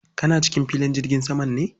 Kana cikin filin jirgin saman ne?